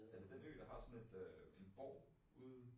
Er den den ø der har sådan et øh en borg ude?